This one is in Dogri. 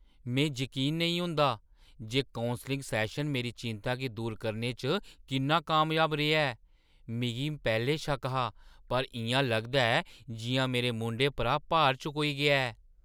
में जकीन नेईं होंदा जे कौंसलिङ सैशन मेरी चिंता गी दूर करने च किन्ना कामयाब रेहा ऐ। मिगी पैह्‌लें शक्क हा, पर इʼयां लगदा ऐ जिʼयां मेरे मूंढें परा भार चकोई गेआ ऐ।